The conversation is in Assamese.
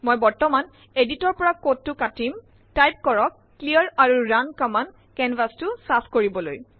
মই বৰ্তমান এডিটৰৰ পৰা কোডটো কাটিম টাইপ কৰক ক্লিয়াৰ আৰু ৰুণ কম্মান্দ কেনভাচ চফা কৰিবলৈ